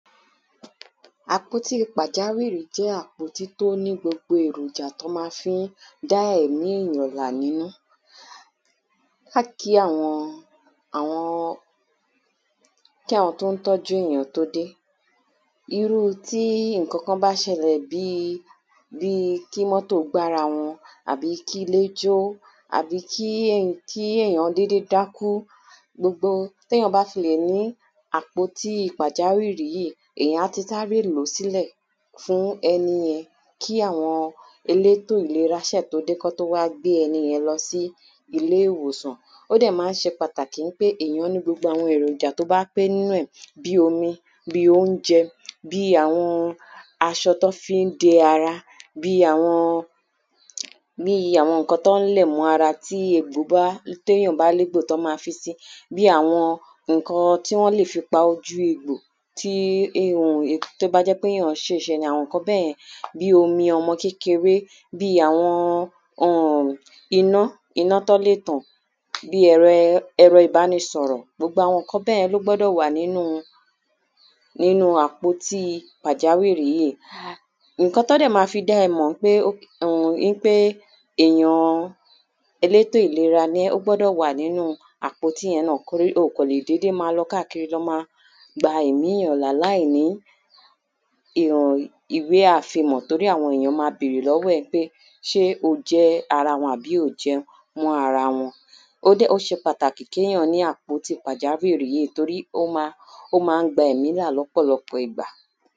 kí àwọn tí o ń tọ́jú èyàn tó dé Irú tí nǹkankan bá ṣẹlẹ̀ bíi bíi kí mọ́tò gbá ara wọn àbí kí ilé jó àbí kí kí èyàn dédé dákú Gbogbo tí èyàn bá fi lè ni àpótí pàjáwìrì yìí èyàn á ti sáre lò ó sílẹ̀ fún ẹniyẹn kí àwọn elétò ìlera ṣe tó dé kí wọ́n tó wá gbé ẹniyẹn lọ sí ilé ìwòsàn O dẹ̀ ma ń ṣe pàtàkì ńpé èyàn ní gbogbo àwọn èròjà tí ó bá pé nínú ẹ̀ Bíi omi bíi óúnjẹ bíi àwọn aṣọ tí wọ́n fi ń de ara bíi àwọn nǹkan tí wọ́n lẹ̀ mọ́ ara tí tí èyàn bá ní egbò tí wọ́n ma fisi bíi àwọn nǹkan tí wọ́n lè fi pa ojú egbò tí ó bá jẹ́ ńpé èyàn ṣìṣe àwọn nǹkan bẹ́ẹ̀ yẹn bíi omi ọmọ kékeré bíi àwọn iná iná tí wọ́n lè tan bíi ẹ̀rọ ìbánisọ̀rọ̀ gbogbo àwọn nǹkan bẹ́ẹ̀ yẹn ní ó gbọ́dọ̀ wà nínú àpótí pàjáwìrì yìí Nǹkan tí wọ́n dẹ̀ ma fi dá ẹ mọ̀ ńpé èyàn elétò ìlera ni ẹ ó gbọ́dọ̀ wà nínú àpótí yẹn náà Torí o ò kàn lè dédé máa lọ káàkiri lọ máa gba ẹ̀mí èyàn là láìní ìwé àfimọ̀ Torí àwọn èyàn ma bèrè lọ́wọ́ ẹ pé ṣé o jẹ́ ara wọn àbí o ò jẹ́ mọ́ ara wọn O ṣe para kí èyàn ní àpótí pàjáwìrì yìí torí o ma ń gba ẹ̀mí là lọ́pọ̀lọpọ̀ ìgbà